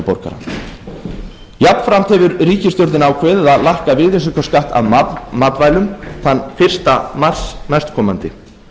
eldri borgara jafnframt hefur ríkisstjórnin ákveðið að lækka virðisaukaskatt af matvælum þann fyrsta mars næstkomandi